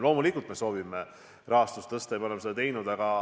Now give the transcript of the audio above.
Loomulikult me soovime rahastust tõsta ja me oleme seda ka teinud.